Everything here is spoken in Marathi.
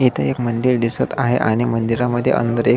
इथ एक मंदिर दिसत आहे आणि मंदिरा मध्ये अंदर एक--